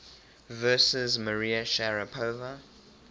versus maria sharapova